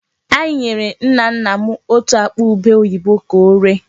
Anyị nyere nna nna m otú akpa ubé oyibo ka oree.